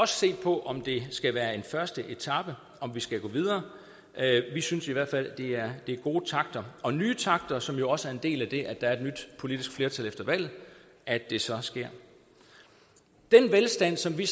se på om det skal være en første etape om vi skal gå videre vi synes i hvert fald at det er gode takter og nye takter som jo også er en del af det at der er et nyt politisk flertal efter valget at det så sker den velstand som vi